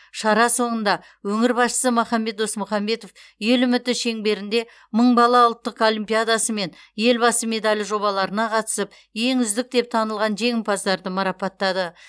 шара соңында өңір басшысы махамбет досмұхамбетов ел үміті шеңберінде мың бала ұлттық олимпиадасы мен елбасы медалі жобаларына қатысып ең үздік деп танылған жеңімпаздарды марапаттады